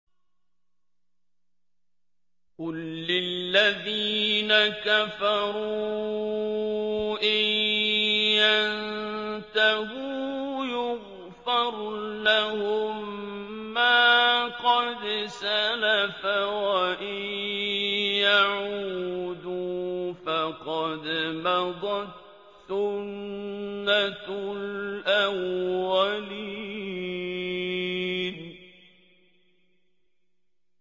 قُل لِّلَّذِينَ كَفَرُوا إِن يَنتَهُوا يُغْفَرْ لَهُم مَّا قَدْ سَلَفَ وَإِن يَعُودُوا فَقَدْ مَضَتْ سُنَّتُ الْأَوَّلِينَ